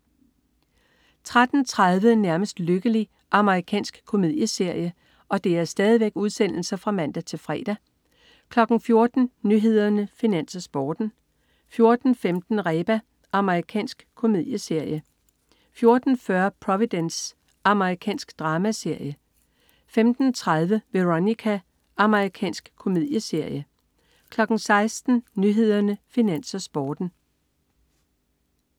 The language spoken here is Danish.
13.30 Nærmest lykkelig. Amerikansk komedieserie (man-fre) 14.00 Nyhederne, Finans, Sporten (man-fre) 14.15 Reba. Amerikansk komedieserie 14.40 Providence. Amerikansk dramaserie (man-fre) 15.30 Veronica. Amerikansk komedieserie (man-fre) 16.00 Nyhederne, Finans, Sporten (man-fre)